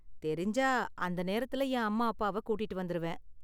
தெரிஞ்சா அந்த நேரத்துல என் அம்மா அப்பாவ கூட்டிட்டு வந்திருவேன்.